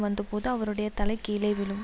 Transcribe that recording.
வந்த போது அவருடைய தலை கீழே விழும்